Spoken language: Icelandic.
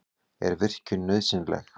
Er virkjun nauðsynleg?